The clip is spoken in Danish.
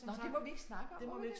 Nåh det må vi ikke snakke om må vi det?